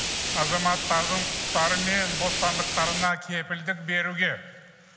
азаматтардың құқықтары мен бостандықтарына кепілдік беруге